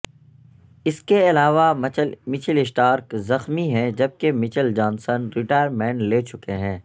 اس کے علاوہ Mitchell Starc زخمی ہیں جبکہ مچل جانسن ریٹائرمنٹ لے چکے ہیں